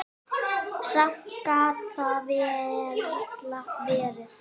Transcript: Samt gat það varla verið.